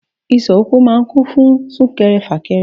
Ìsọ̀ ọkọ̀ máa ń kún fún sún kẹrẹ, fà kẹrẹ.